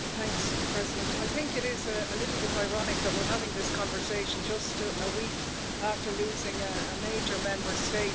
Madam President, I think it is a little bit ironic that we're having this conversation just a week after losing a major Member State